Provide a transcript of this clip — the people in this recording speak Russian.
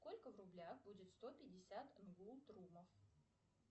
сколько в рублях будет сто пятьдесят нгултрумов